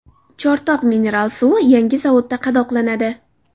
Chortoq mineral suvi yangi zavodda qadoqlanadi.